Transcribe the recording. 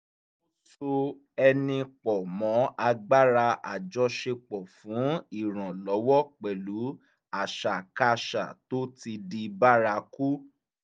ó so ẹni pọ̀ mọ́ agbára àjọṣepọ̀ fún iranlọwọ pẹ̀lú àṣàkáṣà tó ti di bárakú